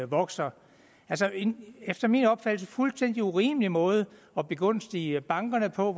vokser efter min opfattelse fuldstændig urimelig måde at begunstige bankerne på